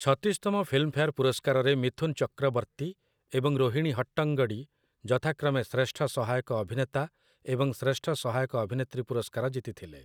ଛତିଶତମ Filmfare ପୁରସ୍କାରରେ ମିଥୁନ୍ ଚକ୍ରବର୍ତ୍ତୀ ଏବଂ ରୋହିଣୀ ହଟ୍ଟଙ୍ଗଡ଼ି ଯଥାକ୍ରମେ ଶ୍ରେଷ୍ଠ ସହାୟକ ଅଭିନେତା ଏବଂ ଶ୍ରେଷ୍ଠ ସହାୟକ ଅଭିନେତ୍ରୀ ପୁରସ୍କାର ଜିତିଥିଲେ ।